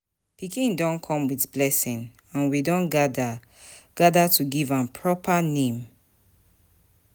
Pikin don come with blessing, and we don gather gather to give am proper name.